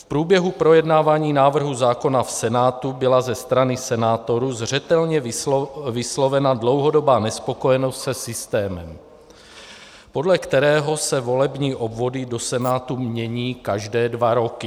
V průběhu projednávání návrhu zákona v Senátu byla ze strany senátorů zřetelně vyslovena dlouhodobá nespokojenost se systémem, podle kterého se volební obvody do Senátu mění každé dva roky.